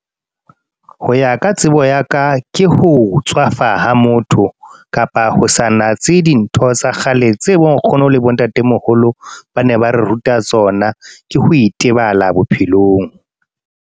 Ho ya ka tsebo ya ka. Ke ho tswafa ha motho, kapa ho sa natse dintho tsa kgale. Tse bo nkgono le bo ntatemoholo ba ne ba re ruta tsona. Ke ho itebala bophelong.